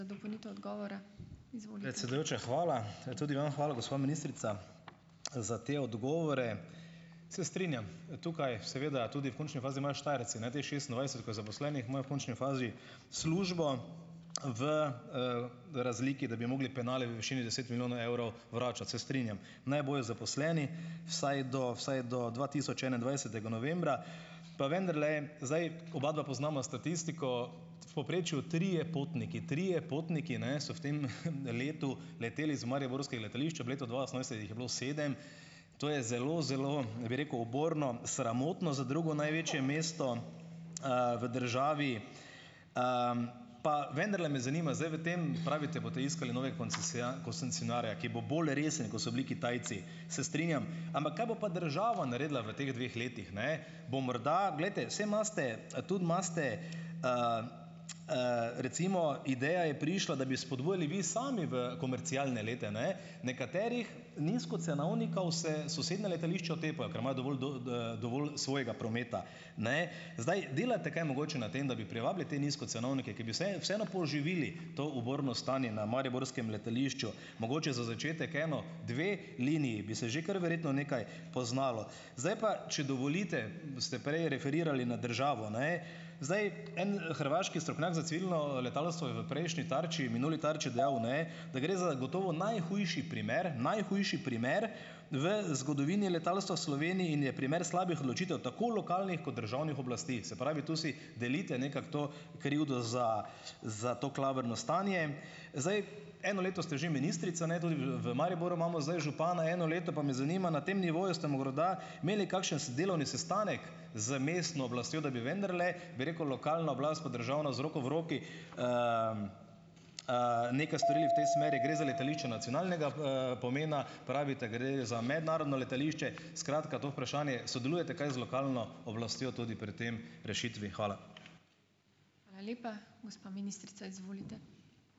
Predsedujoča, hvala. tudi vam hvala, gospa ministrica, za te odgovore. Se strinjam, tukaj seveda tudi v končni fazi imajo Štajerci ne, teh šestindvajset, ko je zaposlenih, imajo v končni fazi službo v, razliki, da bi mogli penale v višini deset milijonov evrov vračati, se strinjam, naj bojo zaposleni vsaj do vsaj do dva tisoč enaindvajsetega novembra. Pa vendarle, zdaj obadva poznava statistiko v povprečju trije, potniki trije, potniki, ne, so v tem letu leteli z mariborskega letališča v letu dva osemnajst, jih je bilo sedem, to je zelo zelo, bi rekel, uborno, sramotno za drugo največje mesto, v državi, pa vendarle me zanima. Zdaj, v tem pravite, boste iskali nove koncesionarja, ki bo bolj resen, ko so bili Kitajci, se strinjam, ampak kaj bo pa država naredila v teh dveh letih, ne, bo morda ... Glejte, saj imate tudi imate, recimo ideja je prišla, da bi spodbujali vi sami v komerciale lete, ne, nekaterih nizkocenovnikov se sosednja letališča otepajo, ker imajo dovolj dovolj svojega prometa. Ne. Zdaj, delate kaj mogoče na tem, da bi privabili te nizkocenovnike, ki bi vseeno poživili to uborno stanje na mariborskem letališču, mogoče za začetek eno, dve liniji bi se že kar verjetno nekaj poznalo. Zdaj pa, če dovolite, ste prej referirali nad državo, ne. Zdaj, en, hrvaški strokovnjak za civilno, letalstvo je v prejšnji Tarči, minuli Tarči dejal, ne, da gre za gotovo najhujši primer, najhujši primer v zgodovini letalstva v Sloveniji in je primer slabih odločitev tako lokalnih kot državnih oblasti. Se pravi, tu si delite nekako to krivdo za za to klavrno stanje. Zdaj, eno leto ste že ministrica, ne. Tudi v v Mariboru imamo zdaj župana eno leto, pa me zanima. Na tem nivoju ste morda imeli kakšen delovni sestanek z mestno oblastjo, da bi vendarle, bi rekel, lokalna oblast pa državna z roko v roki, nekaj storili v tej smeri. Gre za letališče nacionalnega, pomena, pravite, gre za mednarodno letališče, skratka to vprašanje, sodelujete, kaj z lokalno oblastjo tudi pri tem rešitvi. Hvala.